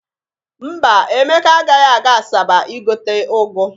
Mba, Emeka agaghị aga Asaba igote ụgụ.